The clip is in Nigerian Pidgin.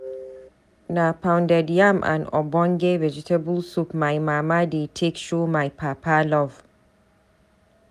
Na pounded yam and ogbonge vegetable soup my mama dey take show my papa love.